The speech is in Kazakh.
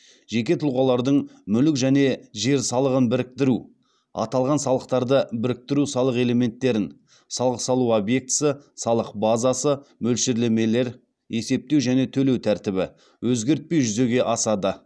жеке тұлғалардың мүлік және жер салығын біріктіру аталған салықтарды біріктіру салық элементтерін өзгертпей жүзеге асады